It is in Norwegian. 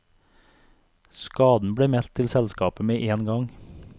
Skaden ble meldt til selskapet med én gang.